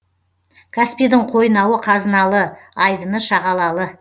каспийдің қойнауы қазыналы айдыны шағалалы